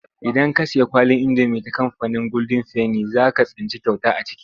Idan ka sayi kwalin indomi ta kamfanin goldin feni za ka tsinci kyauta a ciki.